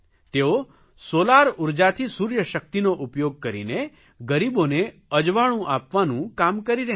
તેઓ સોલાર ઉર્જાથી સૂર્યશકિતનો ઉપયોગ કરીને ગરીબોને અજવાળું આપવાનું કામ કરી રહ્યાં છે